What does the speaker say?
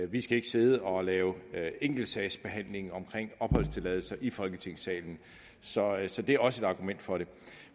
vi skal ikke sidde og lave enkeltsagsbehandling af opholdstilladelse i folketingssalen så så det er også et argument for det